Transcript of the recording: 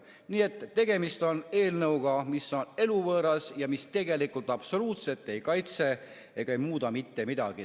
Nii et tegemist on eelnõuga, mis on eluvõõras ja mis tegelikult absoluutselt ei kaitse ega muuda mitte midagi.